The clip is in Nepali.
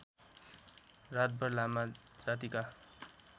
रातभर लामा जातिका